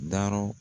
Dayɔrɔ